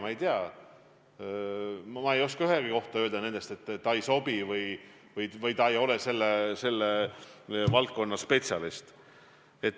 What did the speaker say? Ma ei tea, ma ei oska ühegi kohta öelda, et ta ei sobi või ta ei ole selle valdkonna spetsialist.